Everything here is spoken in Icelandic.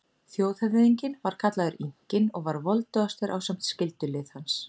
Þjóðhöfðinginn var kallaður Inkinn og var voldugastur ásamt skyldulið hans.